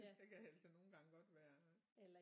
Der kan altså nogle gange godt være